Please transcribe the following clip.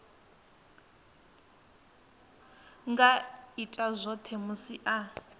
nga ita zwone musi a